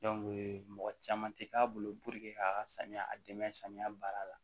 mɔgɔ caman tɛ k'a bolo k'a ka samiya a dɛmɛ samiya baara la